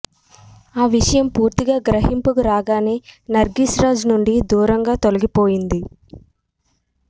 ఆ విషయం పూర్తిగా గ్రహింపుకు రాగానే నర్గీస్ రాజ్ నుండి దూరంగా తొలగిపోయింది